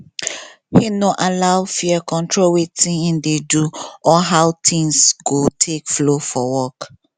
him no allow fear control watin him dey do or how things go take flow for work